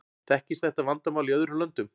Þekkist þetta vandamál í öðrum löndum?